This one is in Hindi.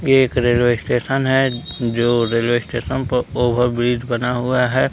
ये एक रेलवे स्टेशन है जो रेलवे स्टेशन पर ओवर ब्रिज बना हुआ है।